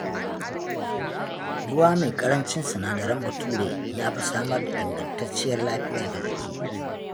Ruwa mai ƙarancin sinadaran bature ya fi samar da ingantacciyar lafiya ga jiki